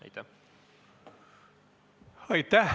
Aitäh!